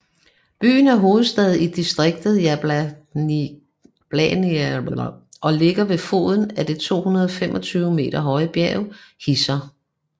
Byen er hovedstad i distriktet Jablanica og ligger ved foden af det 225 meter høje bjerg Hisar